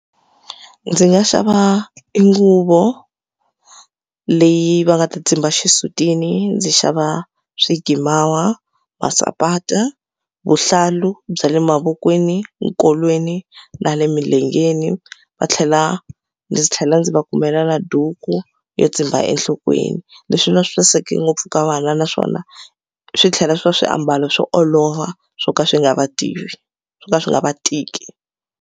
Ndzi nga xava i nguvo leyi va nga ta tsimba xisutini ndzi xava swikimawa, masapati, vuhlalu bya le mavokweni, enkolweni na le milengeni va tlhela ndzi tlhela ndzi va kumela na duku yo tsimba enhlokweni. Leswi va swi saseke ngopfu ka vana naswona swi tlhela swi va swiambalo swo olova swo ka swi nga va tivi swo ka swi nga va tiki.